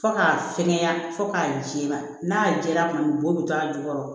Fo k'a fɛngɛ fo k'a jɛ n'a jɛra kuma min b'o bɛ to a jukɔrɔ